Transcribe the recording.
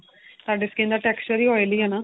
ਤੁਹਾਡੀ skin ਦਾ texture ਈ oily ਏ ਨਾ